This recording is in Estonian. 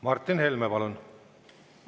Martin Helme, palun!